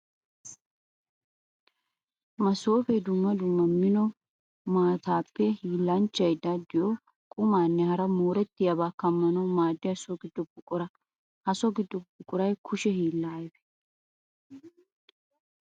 Masoofe dumma dumma mino maatappe hiillanchchay daddiyo qummanne hara mooretiyaaba kammanawu maadiya so gido buqura. Ha so gido buquray kushe hiilla ayfe.